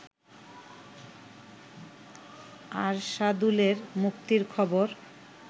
আরশাদুলের মুক্তির খবর